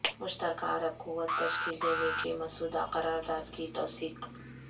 مشترکہ عرب قوت تشکیل دینے کے مسودہ قرارداد کی توثیق